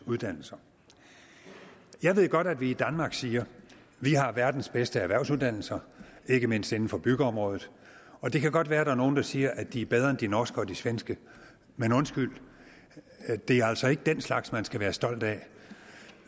uddannelser jeg ved godt at vi i danmark siger vi har verdens bedste erhvervsuddannelser ikke mindst inden for byggeområdet og det kan godt være at der er nogle der siger at de er bedre end de norske og svenske men undskyld det er altså ikke den slags man skal være stolt af